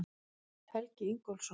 Helgi Ingólfsson.